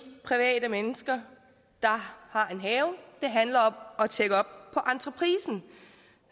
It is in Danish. private mennesker der har en have det handler om at tjekke entreprisen